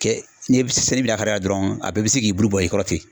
Kɛ ni bi lahara dɔrɔn a bɛɛ bi se k'i bulu bɔ i kɔrɔ ten.